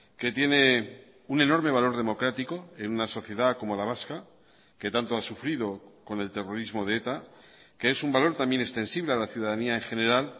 que tiene un enorme valor democrático en una sociedad como la vasca que tanto ha sufrido con el terrorismo de eta que es un valor también extensible a la ciudadanía en general